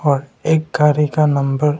और एक गाड़ी का नंबर --